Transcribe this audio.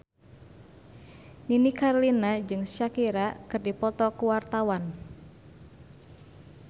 Nini Carlina jeung Shakira keur dipoto ku wartawan